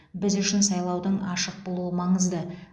біз үшін сайлаудың ашық болуы маңызды